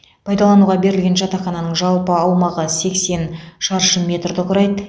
пайдалануға берілген жатақхананың жалпы аумағы сексен шаршы метрді құрайды